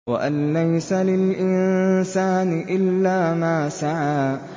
وَأَن لَّيْسَ لِلْإِنسَانِ إِلَّا مَا سَعَىٰ